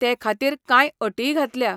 ते खातीर कांय अटीय घातल्या.